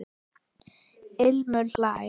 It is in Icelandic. Ilmur hlær.